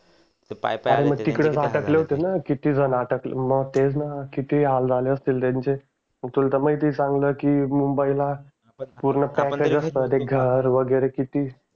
मग तेच ना किती हाल झाले असतील त्यांचे मग तुला तर माहिती आहे चांगलं की मुंबईला पूर्ण ते घर वगैरे किती